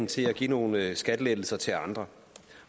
til at give nogle skattelettelser til andre